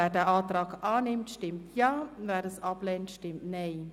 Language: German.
Wer den Antrag annimmt, stimmt Ja, wer diesen ablehnt, stimmt Nein.